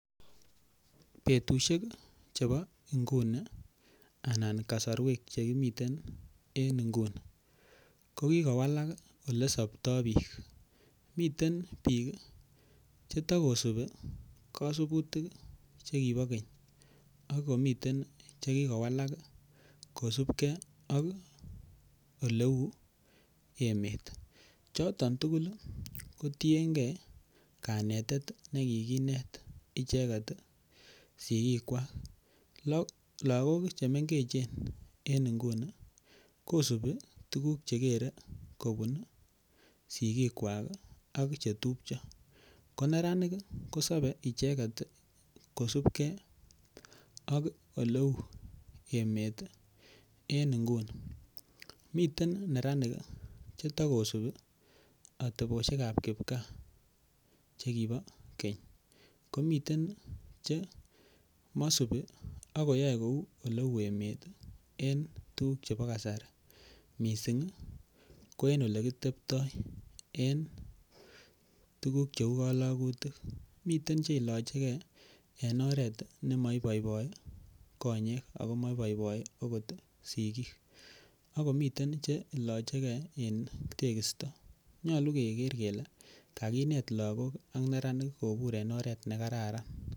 Betusiek Chebo nguni anan kasarwek Che kimiten en nguni ko ki kowalak Ole soptoi bik miten bik Che ta kosubi kasubutik Che kibo keny ak komiten Che ki kowalak kosubge ak oleu emet choton tugul kot kanetet nekikinet icheget sigikwak lagok Che mengechen en nguni kosubi tuguk Che kere kobun sigikwak ak Che tupcho ko neranik kosobe icheget kosubge ak oleu emet en nguni miten neranik Che ta kosubi atebosiek chebo kipkaa chekibo keny komiten Che mosubi ak koyoe kou oleu emet en tuguk chebo kasari mising ko en Ole kiteptoi en tuguk cheu kalagutik miten Che ilochegei en oret ne maiboiboi konyek ak maiboiboi agot sigik ako miten Che iloche ge en tegisto nyolu keger kele kakinet lagok ak neranik kobur en oret ne kararan